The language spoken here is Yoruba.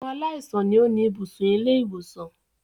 Àwọn aláìsàn ni ó ni ibùsùn ilé-ìwòsàn.